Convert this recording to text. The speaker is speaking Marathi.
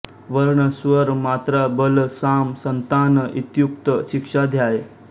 वर्णः स्वरः मात्रा बलं साम सन्तान इत्युक्तः शीक्षाध्यायः